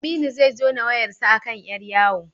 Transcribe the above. Aminu zai jona wayarsa a kan ƴar yawo.